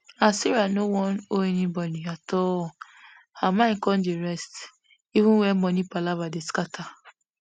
as sarah no wan owe anybody at all her mind come dey rest even wen money palava dey scatter